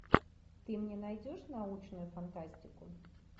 ты мне найдешь научную фантастику